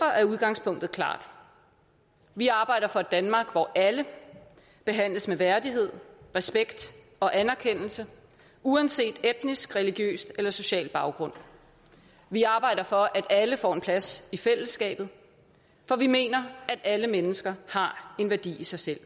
er udgangspunktet klart vi arbejder for et danmark hvor alle behandles med værdighed respekt og anerkendelse uanset etnisk religiøs eller social baggrund vi arbejder for at alle får en plads i fællesskabet for vi mener at alle mennesker har en værdi i sig selv